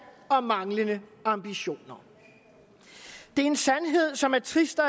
og manglende ambitioner det er en sandhed som er trist at